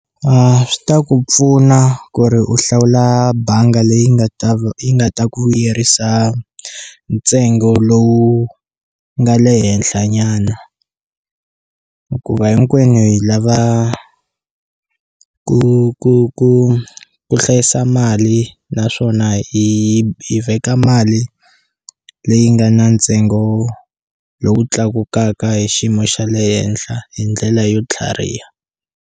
A swi ta ku pfuna ku ri u hlawula banga leyi nga ta yi nga ta ku vuyerisa ntsengo lowu nga le henhla nyana hikuva hinkwenu hi lava ku ku ku ku hlayisa mali naswona hi hi veka mali leyi nga na ntsengo lowu tlakukaka hi xiyimo xa le henhla hi ndlela yo tlhariha.